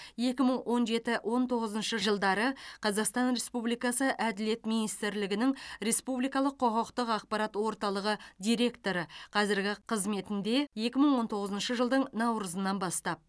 екі мың он жеті он тоғызыншы жылдары қазақстан республикасы әділет министрлігінің республикалық құқықтық ақпарат орталығы директоры қазіргі қызметінде екі мың он тоғызыншы жылдың наурызынан бастап